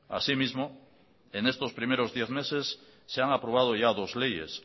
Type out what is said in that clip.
así mismo en estos primeros diez meses se han aprobado ya dos leyes